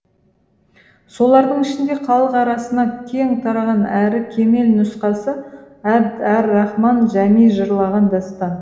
солардың ішінде халық арасына кең тараған әрі кемел нұсқасы абд әр рахман жәми жырлаған дастан